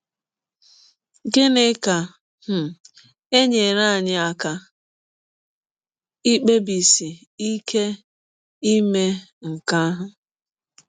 Gịnị ga - um enyere anyị aka ikpebisi ike ime nke ahụ?